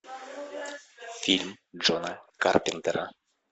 фильм джона карпентера